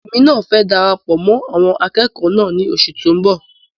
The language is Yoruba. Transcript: Èmi náà fẹ darapọ̀ mọ́ àwọn akẹ́kọ̀ọ́ náà ní oṣù tó n bọ